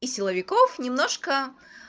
и силовиков немножко